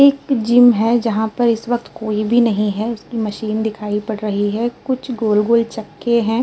एक जिम है जहाँ पर इस वक्त कोई भी नहीं है। उसकी मशीन दिखाई पड़ रही है। कुछ गोल-गोल चक्के हैं।